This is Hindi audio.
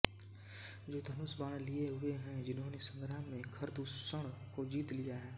जो धनुषबाण लिये हुए हैं जिन्होनें संग्राम में खरदूषण को जीत लिया है